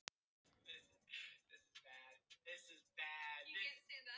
Kristján var aðeins þrjátíu og sjö ára að aldri.